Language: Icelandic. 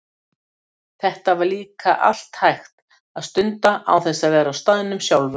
Þetta var líka allt hægt að stunda án þess að vera á staðnum sjálfur.